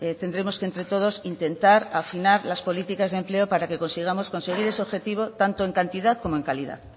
tendremos entre todos que intentar afinar las políticas de empleo para que consigamos lograr ese objetivo tanto en cantidad como en calidad